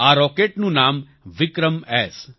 આ રોકેટનું નામ વિક્રમ એસ